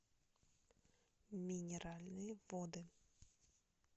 минеральные воды